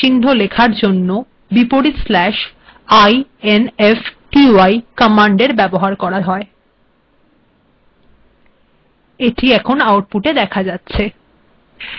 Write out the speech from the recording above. এখানে এটি দেখ যাচ্ছে